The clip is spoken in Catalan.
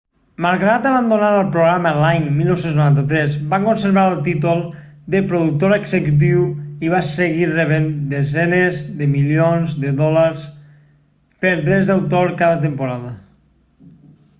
malgrat abandonar el programa l'any 1993 va conservar el títol de productor executiu i va seguir rebent desenes de milions de dòlars per drets d'autor cada temporada